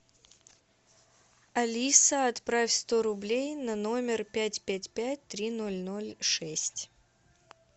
алиса отправь сто рублей на номер пять пять пять три ноль ноль шесть